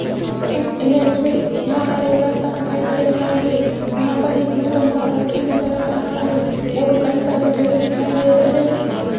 इस इमेज में यहां पर एक रास्ता दिखाई दे रहा है यहां पर एक ब्लू रंग का बोर्ड भी नजर आ रहा है और कई सारे पेड़ दिखाई दे रहे है।